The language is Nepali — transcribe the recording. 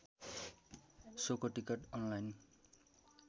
सोको टिकट अनलाइन